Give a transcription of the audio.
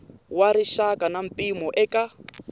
wa rixaka na mpimo eka